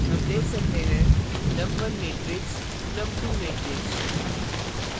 हम देख सकते हैं num1 matrix num2 matrix